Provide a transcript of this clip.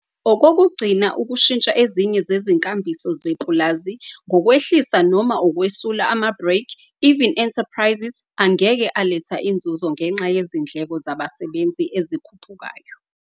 Okokugcina ukushintsha ezinye zezinkambiso zepulazi ngokwehlisa noma ukwesula amabreak-even enterprises angeke aletha inzuzo ngenxa yezindleko zabasebenzi ezikhuphukayo.